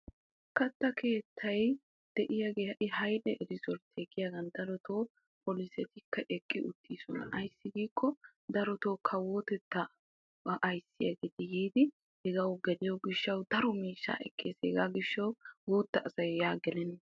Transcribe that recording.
katta keettay de'iyagee ha'i haile rezoltiya giyagan darotoo polisee issippe eqqi uttiisona. ayissi giikko daroto kawotettaa ayissiyageeti yiidi hegawu geliyo gishshawu daro miishshaa ekkes. hegaa gishshawu guutta asay yaa gelenna.